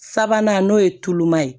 Sabanan n'o ye tuluman ye